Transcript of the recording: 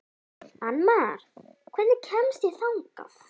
Annmar, hvernig kemst ég þangað?